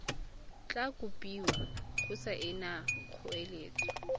tla kopiwa go saena kgoeletso